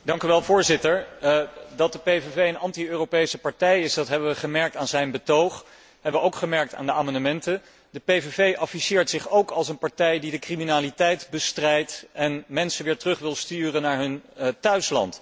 Voorzitter, dat de PVV een anti Europese partij is, dat hebben we gemerkt aan zijn betoog en dat hebben we ook gemerkt aan de amendementen. De PVV afficheert zich ook als een partij die de criminaliteit bestrijdt en mensen weer terug wil sturen naar hun thuisland.